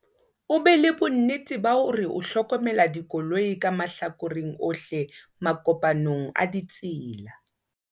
o be le bonnete ba hore o hlokomela dikoloi ka mahlakoreng ohle makopanong a ditsela